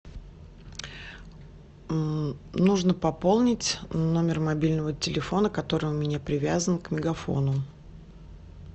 нужно пополнить номер мобильного телефона который у меня привязан к мегафону